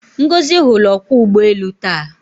Ngozi hụrụ ọkwọụgbọelu taa.